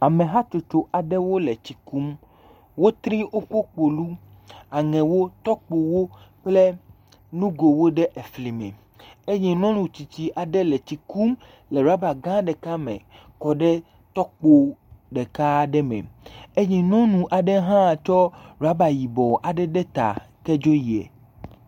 Ame hatsotso aɖewo le tsi kum. Wotri woƒe kpolu, aŋewo, tɔkpowo kple nugowo ɖe efli me eye nyɔnu tsitsi aɖe le tsi kum le rɔba gã ɖeka me kɔ ɖe tɔkpo ɖeka aɖe me eye nyɔnu aɖe hã tsɔ rɔba yibɔ aɖe ɖe ta tsɔ dzo yiɛ.